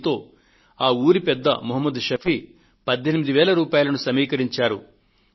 దీంతో ఆ ఊరి పెద్ద మహ్మద్ షఫీ 18000 రూపాయలను సమీకరించారు